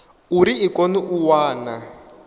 uri i kone u wana